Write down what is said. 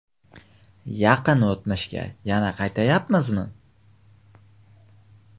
Yaqin o‘tmishga yana qaytyapmizmi?